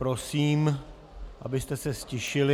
Prosím, abyste se ztišili...